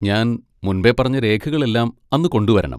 ഞാൻ മുൻപേ പറഞ്ഞ രേഖകൾ എല്ലാം അന്ന് കൊണ്ടുവരണം.